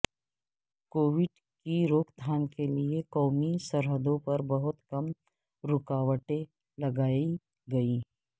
Covid کی روک تھام کے لیے قومی سرحدوں پر بہت کم رکاوٹیں لگائی گئیں